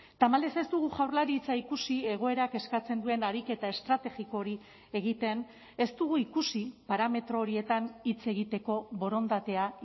tamalez ez dugu jaurlaritza ikusi egoerak eskatzen duen ariketa estrategiko hori egiten ez dugu ikusi parametro horietan hitz egiteko borondatea